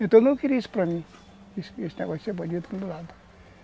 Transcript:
Então eu não queria isso para mim, esse esse negócio de ser bandido para o meu lado.